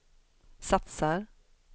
satsar